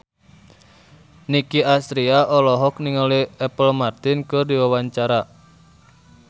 Nicky Astria olohok ningali Apple Martin keur diwawancara